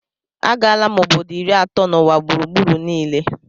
Agala m obodo iri atọ n'ụwa gburugburu niile